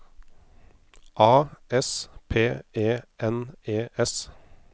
A S P E N E S